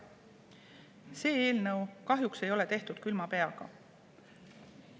See eelnõu kahjuks ei ole tehtud külma peaga.